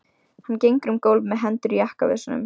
Hann gengur um gólf með hendur í jakkavösunum.